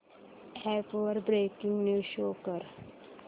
app वर breaking news show कर